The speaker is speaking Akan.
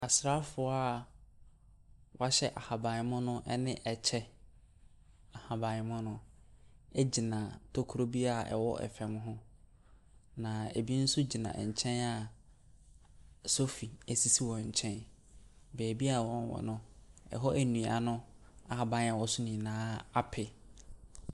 Asrafoɔ a wɔahyɛ ahaban mono ɛne ɛkyɛ ahaban mono egyina tokoro bia ɛwo ɛfam ho. Na ebi nso gyina ɛnkyɛn a sofi esisi wɔnkyɛn. Baabi a wɔn wɔ no ɛhɔ nnua no ahaban a ɛwɔ so nyinaa ape.